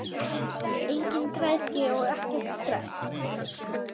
Engin græðgi og ekkert stress!